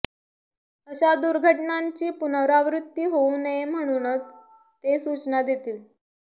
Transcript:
अशा दुर्घटनांची पुनरावृत्ती होऊ नये म्हणून ते सूचना देतील